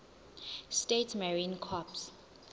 states marine corps